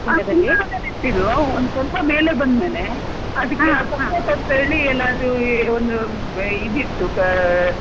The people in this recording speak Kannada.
ಹಾ ಕುಂಡದಲ್ಲೇ ನಟ್ಟಿದ್ದು ಒಂದು ಸ್ವಲ್ಪ ಮೇಲೆ ಬಂದ್ಮೇಲೆ support ಅಂತ ಹೇಳಿ ಎಲ್ಲ ಅದು ಒಂದು ಇದಿಟ್ಟು.